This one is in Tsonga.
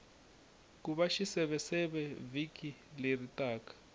kuna xiseveseve vhiki leri taka